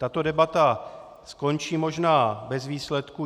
Tato debata skončí možná bez výsledku.